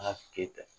A ka keta